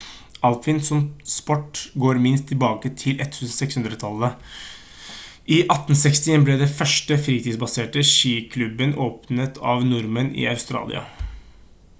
alpint som sport går minst tilbake til 1600-tallet i 1861 ble den første fritidsbaserte skiklubben åpnet av nordmenn i australia